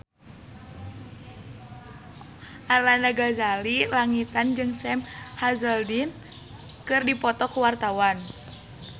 Arlanda Ghazali Langitan jeung Sam Hazeldine keur dipoto ku wartawan